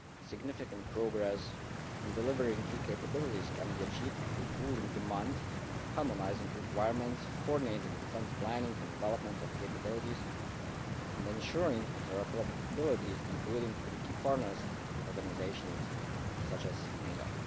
Significant progress in delivering key capabilities can be achieved through pooling demand, harmonising requirements, coordinating defence planning and development of capabilities, and ensuring interoperability including with key partners organisations such as NATO.